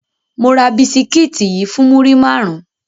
Mo ra bisikiti yii fun muri marun